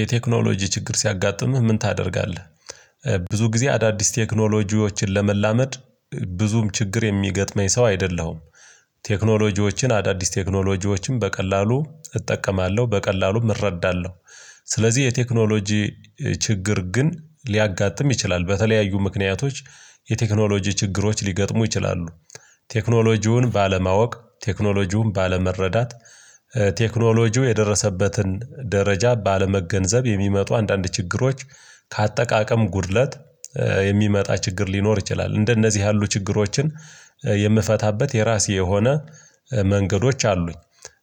የቴክኖሎጂ ችግር ሲያጋጥምህ ምን ታደርጋለህ? ብዙ ጊዜ አዳዲስ ቴክኖሎጂዎችን ለመላመድ ብዙም ችግር የሚገጥመኝ ሰው አይደለሁም። ቴክኖሎጂዎችን አዳዲስ ቴክኖሎጂዎችን በቀላሉ እጠቀማለሁ በቀላሉም እረዳለሁ። ስለዚህ የቴክኖሎጂ ችግር ግን ሊያጋጥም ይችላል በተለያዩ ምክንያቶች የቴክኖሎጂ ችግሮች ሊገጥሙ ይችላሉ። ቴክኖሎጂውን ባለማወቅ ቴክኖሎጂውን ባለመረዳት ቴክኖሎጂው የደረሰበትን ደረጃ ባለመገንዘብ የሚመጡ አንዳንድ ችግሮች ከአጠቃቀም ጉድለት የሚመጣ ችግር ሊኖር ይችላል። እንደነዚህ ያሉ ችግሮችን የምፈታበት የራሴ የሆነ መንገዶች አሉኝ።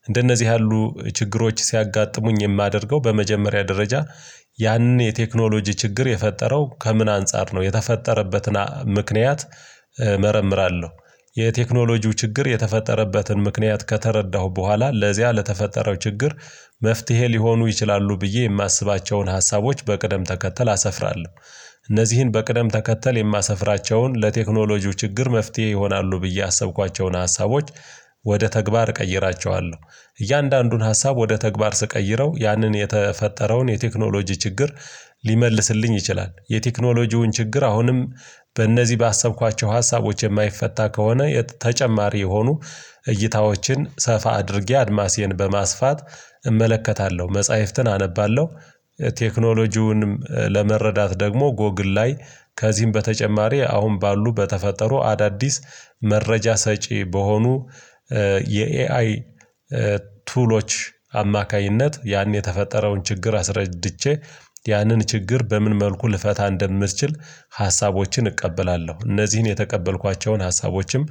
እንደነዚህ ያሉ ችግሮች ሲያጋጥሙኝ የማደርገው በመጀመሪያ ደረጃ ያንን የቴክኖሎጂ ችግር የፈጠረው ከምን አንፃር ነው የተፈጠረበትን ምክንያት እመረምራለሁ። የቴክኖሎጂው ችግር የተፈጠረበትን ምክንያት ከተረዳሁ በኋላ ለዚያ ለተፈጠረው ችግር መፍትሄ ሊሆኑ ይችላሉ ብዬ የማስባቸውን ሀሳቦች በቅደም ተከተል አሰፍራለሁ። እነዚህን በቅደም ተከተል የማሰፍራቸውን ለቴክኖሎጂው ችግር መፍትሄ ይሆናሉ ብዬ ያሰብኳቸውን ሀሳቦች ወደ ተግባር እቀይራቸዋለሁ። እያንዳንዱን ሀሳብ ወደ ተግባር ስቀይረው ያንን የተፈጠረውን የቴክኖሎጂ ችግር ሊመልስልኝ ይችላል። የቴክኖሎጂውን ችግር አሁንም በእነዚህ ባሰብኳቸው ሀሳቦች የማይፈታ ከሆነ ተጨማሪ የሆኑ እይታዎችን ሰፋ አድርጌ አድማሴን በማስፋት እመለከታለሁ መጽሐፍትን አነባለሁ። ቴክኖሎጂውንም ለመረዳት ደግሞ ጎግል ላይ ከዚህም በተጨማሪ አሁን ባሉ በተፈጠሩ አዳዲስ መረጃ ሰጪ በሆኑ የኤአይ ቱሎች አማካኝነት ያን የተፈጠረውን ችግር አስረድቼ ያንን ችግር በምን መልኩ ልፈታ እንደምትችል? ሀሳቦችን እቀበላለሁ እነዚህን የተቀበልኳቸውን ሀሳቦችም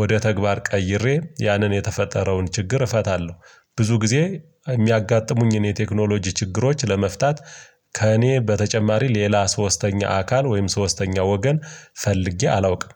ወደ ተግባር ቀይሬ ያንን የተፈጠረውን ችግር እፈታለሁ። ብዙ ጊዜ የሚያጋጥሙኝን የቴክኖሎጂ ችግሮች ለመፍታት ከእኔ በተጨማሪ ሌላ ሶስተኛ አካል ወይም ሶስተኛ ወገን ፈልጌ አላውቅም።